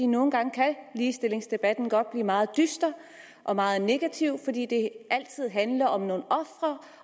nogle gange kan ligestillingsdebatten godt blive meget dyster og meget negativ fordi det altid handler om nogle ofre